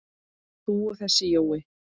þú og þessi Jói?